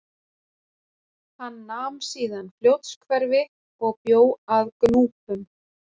Hann nam síðan Fljótshverfi og bjó að Gnúpum.